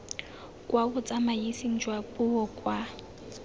kwa botsamaising jwa puo kwa